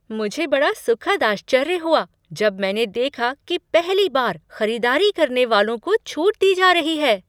मुझे बड़ा सुखद आश्चर्य हुआ जब मैंने देखा कि पहली बार खरीदारी करने वालों को छूट दी जा रही है।